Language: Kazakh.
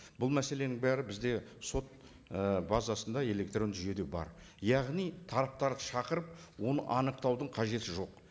бұл мәселенің бәрі бізде сот і базасында электронды жүйеде бар яғни тараптарды шақырып оны анықтаудың қажеті жоқ